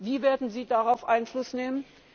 ihm. Wie werden Sie darauf Einfluss nehmen?